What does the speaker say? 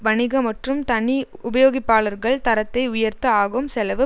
வணிக மற்றும் தனி உபயோகிப்பாளர்கள் தரத்தை உயர்த்த ஆகும் செலவு